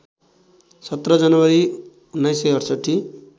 १७ जनवरी१९६८